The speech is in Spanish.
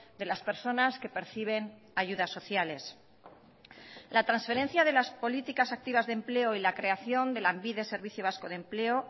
de las personas que perciben ayudas sociales la transferencia de las políticas activas de empleo y la creación de lanbide servicio vasco de empleo